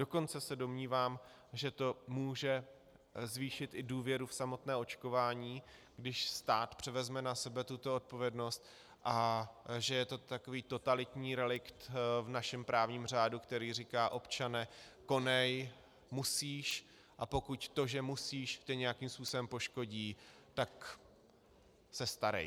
Dokonce se domnívám, že to může zvýšit i důvěru v samotné očkování, když stát převezme na sebe tuto odpovědnost, a že je to takový totalitní relikt v našem právním řádu, který říká - občane, konej, musíš, a pokud to, že musíš, tě nějakým způsobem poškodí, tak se starej.